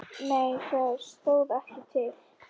Nei það stóð ekki til.